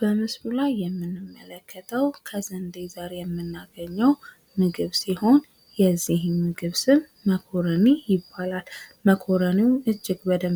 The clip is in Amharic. በምስሉ ላይ የምንመለከተው ከስንደዘር የምናገኘው ምግብ ሲሆን የዚህም ምግብ ስም መኮረኒ ይባላል። መኮረኒው እጅግ በጣም